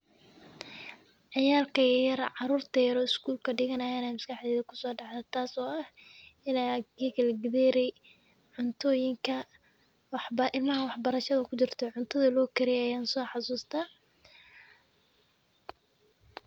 Ciyaalka yaryar oo iskuulka dhiganayaan ayaa maskaxdeyda kusoo dhacday ,taas oo cuntoyinka ilmaha wax-barashada ku jirto githeri cuntoyinka loo kariyo ayaan soo xasustaa .